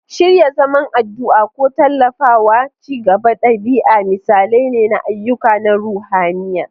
Shirya zaman addu'a ko tallafawa ci gaban ɗabi'a misalai ne na ayyuka na ruhaniya.